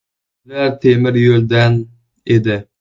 Ular temiryo‘ldan edi.